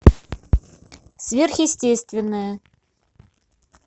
сверхъестественное